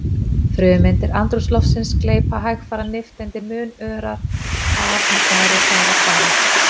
Frumeindir andrúmsloftsins gleypa hægfara nifteindir mun örar af en þær er hraðar fara.